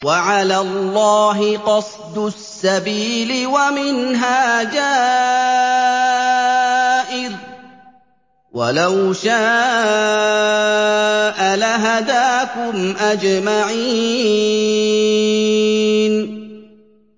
وَعَلَى اللَّهِ قَصْدُ السَّبِيلِ وَمِنْهَا جَائِرٌ ۚ وَلَوْ شَاءَ لَهَدَاكُمْ أَجْمَعِينَ